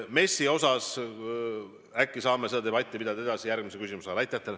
MES-i teemal äkki saame seda debatti pidada järgmise küsimuse raames.